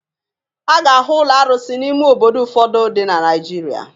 A ga-ahụ ụlọ arụsị n'ime obodo ụfọdụ dị na Naịjirịa.